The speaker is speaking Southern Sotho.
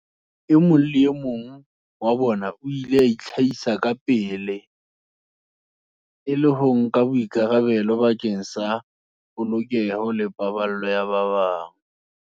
E mong le e mong wa bona o ile a itlhahisa kapele, e le ho nka boikarabelo bakeng sa polokeho le paballeho ya ba bang.